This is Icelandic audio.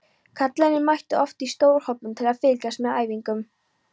Kallarnir mættu oft í stórhópum til að fylgjast með æfingunum.